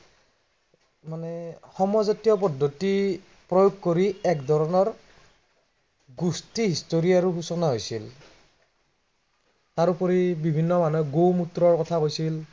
সয়জাতীয় পদ্ধতি প্ৰয়োগ কৰি একধৰণৰ, গোষ্ঠী history ৰো সুচনা হৈছিল। তাৰোপৰি বিভিন্ন মানুহে গো-মূত্ৰৰ কথা কৈছিল।